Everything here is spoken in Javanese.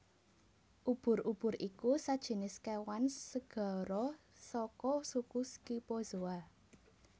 Ubur ubur iku sajinis kéwan segara saka suku Scyphozoa